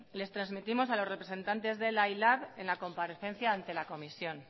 les trasmitimos a los representantes de ela y lab en la comparecencia ante la comisión